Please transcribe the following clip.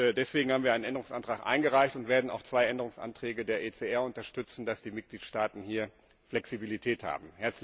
Deswegen haben wir einen Änderungsantrag eingereicht und werden auch zwei Änderungsanträge der ECR unterstützen, damit die Mitgliedstaaten hier Flexibilität haben.